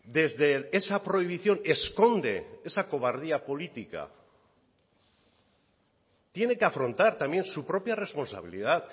desde esa prohibición esconde esa cobardía política tiene que afrontar también su propia responsabilidad